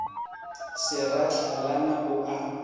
se ra hlalana o a